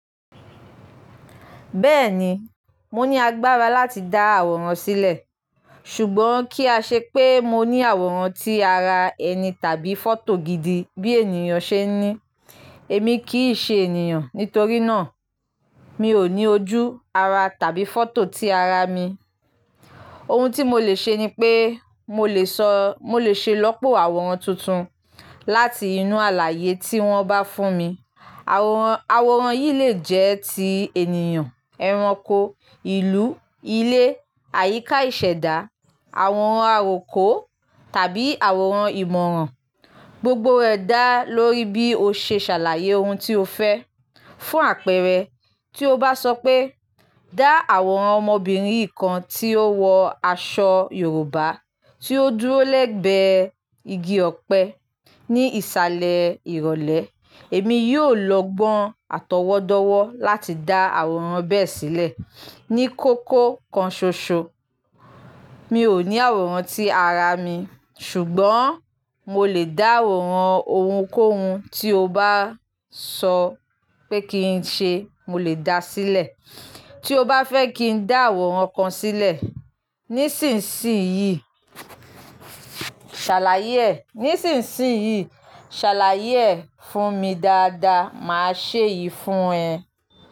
Bẹ́ẹ̀ni, mo ní agbára láti dá àwòrán sílẹ̀, ṣùgbọ́n kí a ṣe pé mo ní àwòrán tí ara ẹni tàbí fọ́tò gidi bí ènìyàn ṣe ń ní. Èmi kì í ṣe ènìyàn, nítorí náà mi ò ní ojú, ara tàbí fọ́tò tí ara mi. Ohun tí mo lè ṣe ni pé mo lè sọ-- mo lè ṣe ilọ́pọ̀ àwòrán tuntun láti inú àlàyé tí wọ́n bá fún mi. Àwòrán, àwòrán yìí lè jẹ́ ti ènìyàn, ẹranko, ìlú, ilé, àyíká ìṣẹ̀dá, àwòrán àròkọ tàbí àwòrán ìmọ̀ràn. Gbogbo rẹ̀ dá lórí bí o ṣe ṣàlàyé ohun tí o fẹ́ fún àpẹẹrẹ, tí o bá sọ pé "Dá àwòrán ọmọbìnrin yì kan tí ó wọ aṣọ Yorùbá tí ó dúró lẹ́gbẹ́ igi ọ̀pẹ ní ìsàlẹ̀ ìrọ̀lẹ́." Èmi yóò lọ gbọ́n àtọwọ́dọ́wọ́ láti dá àwòrán bẹ́ẹ̀ sílẹ̀ ní kókó kan ṣoṣo. Mi ò ní àwòrán tí ara mi, ṣùgbọ́n mo lè dá àwòrán ohunkóhun tí o bá sọ pé kí n ṣe, mo lè dá sílẹ̀. Tí o bá fẹ́ kí n dá àwòrán kan sílẹ̀ nísinsìnyí, ṣàlàyé ẹ̀, nísinsìnyí, ṣàlàyé ẹ̀ fún mi dáadáa, màá ṣe yì fún ẹ.